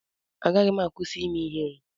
Agaghị m akwụsị ime ihere.